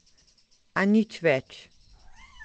A nič več.